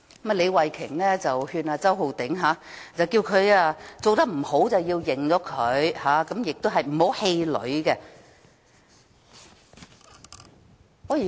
李慧琼議員勸周浩鼎議員，做得不好便要承認，而且不要氣餒。